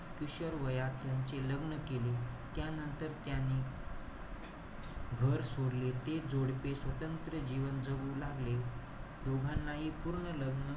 किशोरवयात त्यांचे लग्न केले. त्यानंतर त्याने घर सोडले. ते जोडपे स्वतंत्र जीवन जगू लागले. दोघांनाही पूर्ण लग्न,